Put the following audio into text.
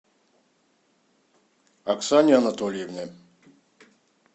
оксане анатольевне